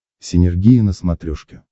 синергия на смотрешке